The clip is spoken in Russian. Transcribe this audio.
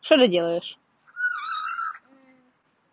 что ты делаешь